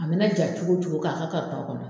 A mɛ na ja cogo o cogo k'a ka kɔnɔ.